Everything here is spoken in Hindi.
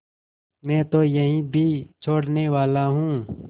मैं तो यह भी छोड़नेवाला हूँ